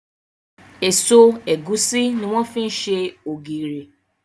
Èso ẹ̀gúsí ní wọ́n fi ṣe ògìrì.